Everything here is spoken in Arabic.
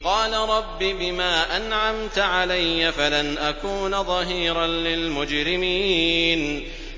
قَالَ رَبِّ بِمَا أَنْعَمْتَ عَلَيَّ فَلَنْ أَكُونَ ظَهِيرًا لِّلْمُجْرِمِينَ